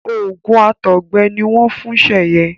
oògùn àtọgbẹ ni wọn ń fún Seye.